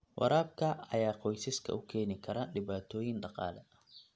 Waraabka ayaa qoysaska u keeni kara dhibaatooyin dhaqaale.